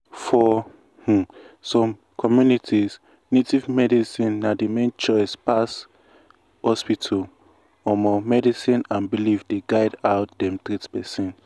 for um some communities native medicine na the main choice pass hospital um medicine and belief dey guide how dem treat person. um